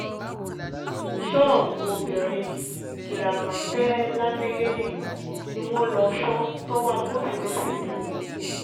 ṣọ́ọ̀bù obìnrin gírámàteèlámáyélì ni wọ́n lọ́ọ́ fọ́ tọwọ́ agbófinró fi tẹ̀ wọ́n